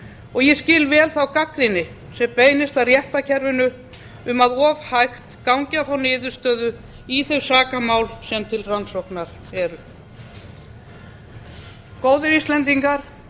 og ég skil vel þá gagnrýni sem beinist að réttarkerfinu um að of hægt gangi að fá niðurstöðu í þau sakamál sem til rannsóknar eru góðir íslendingar